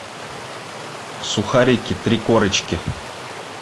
сухарики три корочки